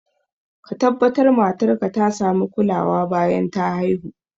Ka tabbatar matar ka ta sami kulawa bayan ta haihu